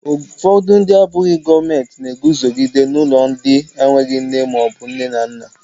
Ụfọdụ ndị abụghị gọọmentị na-eguzogide ụlọ ndị enweghị nne maọbụ nne na nna.